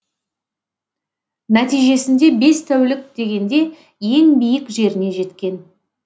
нәтижесінде бес тәулік дегенде ең биік жеріне жеткен